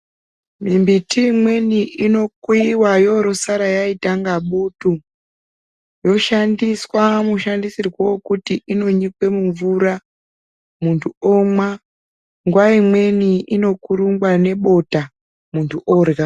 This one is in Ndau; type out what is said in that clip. Mbiti imweni inokweyiwa yorosara yaita nga butu yoshandiswa mushandisirwo wokuti inonyikwe mumvura muntu omwa nguwa imweni inokurungwa nebota muntu orya.